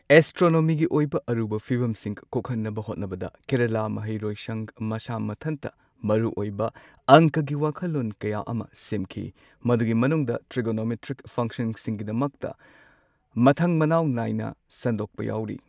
ꯑꯦꯁꯇ꯭ꯔꯣꯅꯣꯃꯤꯒꯤ ꯑꯣꯏꯕ ꯑꯔꯨꯕ ꯐꯤꯕꯝꯁꯤꯡ ꯀꯣꯛꯍꯟꯅꯕ ꯍꯣꯠꯅꯕꯗ ꯀꯦꯔꯂꯥ ꯃꯍꯩ ꯂꯣꯏꯁꯪ ꯃꯁꯥ ꯃꯊꯟꯇ ꯃꯔꯨꯑꯣꯏꯕ ꯑꯪꯀꯒꯤ ꯋꯥꯈꯜꯂꯣꯟ ꯀꯌꯥ ꯑꯃ ꯁꯦꯝꯈꯤ꯫ ꯃꯗꯨꯒꯤ ꯃꯅꯨꯡꯗ ꯇ꯭ꯔꯤꯒꯣꯅꯣꯃꯦꯇ꯭ꯔꯤꯛ ꯐꯪꯁꯟꯁꯤꯡꯒꯤꯗꯃꯛꯇ ꯃꯊꯪ ꯃꯅꯥꯎ ꯅꯥꯏꯅ ꯁꯟꯗꯣꯛꯄ ꯌꯥꯎꯔꯤ꯫